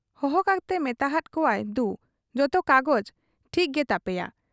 ᱦᱚᱦᱚ ᱠᱟᱛᱮ ᱢᱮᱛᱟ ᱦᱟᱫ ᱠᱚᱣᱟᱭ ᱫᱩ, ᱡᱚᱛᱚ ᱠᱟᱜᱚᱡᱽ ᱴᱷᱤᱠ ᱜᱮ ᱛᱟᱯᱮᱭᱟ ᱾